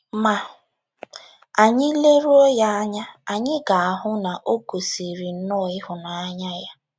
Ma, anyị leruo ya anya, anyị ga - ahụ na o gosịrị nnọọ ịhụnanya ya.